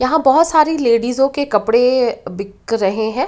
यहाँ बहोत सारी लेडीजो के कपड़े बिक रहे हैं।